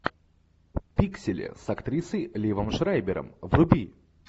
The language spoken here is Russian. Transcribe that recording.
пиксели с актрисой ливом шрайбером вруби